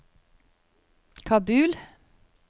Kabul